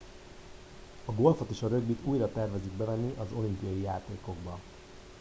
a golfot és a rögbit újra tervezik bevenni az olimpiai játékokba